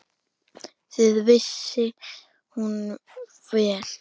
Það vissi hún vel.